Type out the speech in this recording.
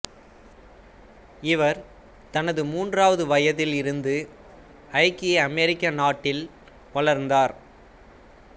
இவர் தனது மூன்றாவது வயதில் இருந்து ஐக்கிய அமெரிக்க நாட்டில் வவளர்ந்தார்